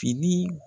Fini